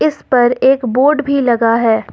इस पर एक बोर्ड भी लगा है।